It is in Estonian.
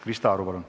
Krista Aru, palun!